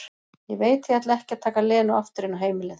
Ég veit að ég ætla ekki að taka Lenu aftur inn á heimilið.